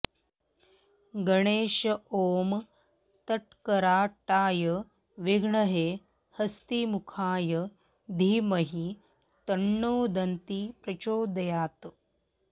गणेश ॐ तत्कराटाय विद्महे हस्तिमुखाय धीमहि तन्नो दन्ती प्रचोदयात्